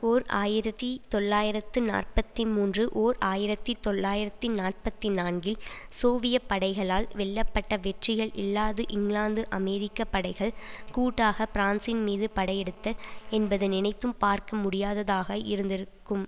ஓர் ஆயிரத்தி தொள்ளாயிரத்து நாற்பத்தி மூன்று ஓர் ஆயிரத்தி தொள்ளாயிரத்தி நாற்பத்தி நான்கில் சோவிய படைகளால் வெல்லப்பட்ட வெற்றிகள் இல்லாது இங்கிலாந்து அமெரிக்க படைகள் கூட்டாக பிரான்சின்மீது படையெடுத்தல் என்பது நினைத்தும் பார்க்கமுடியாததாக இருந்திருக்கும்